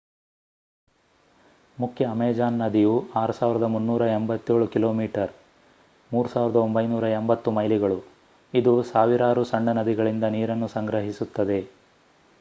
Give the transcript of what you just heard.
ಮುಖ್ಯ ಅಮೆಜಾನ್ ನದಿಯು 6,387 ಕಿಮೀ 3,980 ಮೈಲಿಗಳು. ಇದು ಸಾವಿರಾರು ಸಣ್ಣ ನದಿಗಳಿಂದ ನೀರನ್ನು ಸಂಗ್ರಹಿಸುತ್ತದೆ